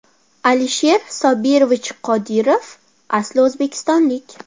Alisher Sobirovich Qodirov asli o‘zbekistonlik.